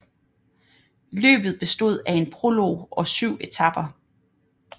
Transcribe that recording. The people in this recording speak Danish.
Løbet bestod af en prolog og 7 etaper